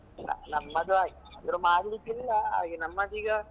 ನ ನಮ್ಮದು ಹಾಗೆ ಆದ್ರೆ ಮಾಡ್ಲಿಕ್ಕಿಲ್ಲ ಹಾಗೆ ನಮ್ಮದೀಗ.